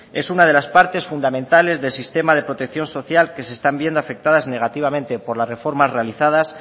es una de las partes fundamentales del sistema de protección social que se están viendo afectadas negativamente por las reformas realizadas